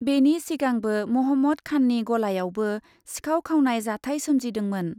बेनि सिगांबो महम्मद खाननि गलायावबो सिखाव खावनाय जाथाय सोमजिदोंमोन ।